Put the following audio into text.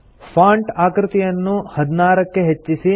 font ಆಕೃತಿಯನ್ನು ೧೬ ಕ್ಕೆ ಹೆಚ್ಚಿಸಿ